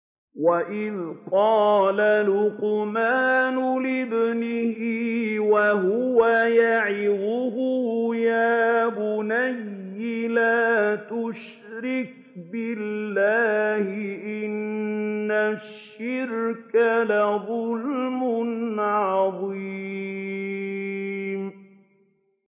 وَإِذْ قَالَ لُقْمَانُ لِابْنِهِ وَهُوَ يَعِظُهُ يَا بُنَيَّ لَا تُشْرِكْ بِاللَّهِ ۖ إِنَّ الشِّرْكَ لَظُلْمٌ عَظِيمٌ